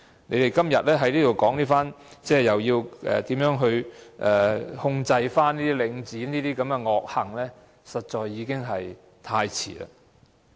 你們今天在這裏說要怎樣控制領展的惡行，實在已經太遲。